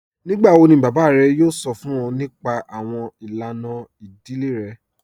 Nígbàwọ̀ ni bàbá rẹ̀ yóò sọ̀ fún ọ̀ nípà awọn ilànà ìdílé rẹ̀?